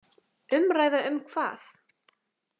Umræða um hvað?